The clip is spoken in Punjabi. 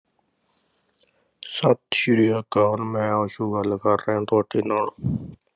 ਸਤਿ ਸ੍ਰੀ ਅਕਾਲ ਮੈਂ ਆਸੂ ਗੱਲ ਕਰ ਰਿਹਾਂ ਤੁਹਾਡੇ ਨਾਲ